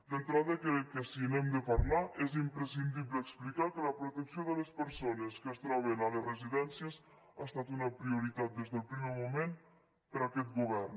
d’entrada crec que si n’hem de parlar és imprescindible explicar que la protecció de les persones que es troben a les residències ha estat una prioritat des del primer moment per a aquest govern